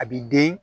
A b'i den